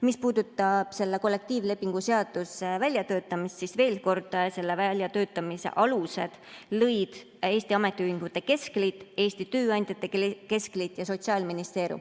Mis puudutab kollektiivlepingu seaduse väljatöötamist, siis veel kord: selle väljatöötamise alused lõid Eesti Ametiühingute Keskliit, Eesti Tööandjate Keskliit ja Sotsiaalministeerium.